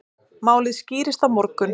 Málið skýrist á morgun.